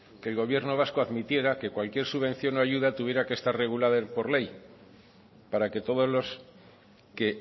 que el gobierno vasco admitiera que cualquier subvención o ayuda tuviera que estar regulada por ley para que todos los que